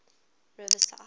riverside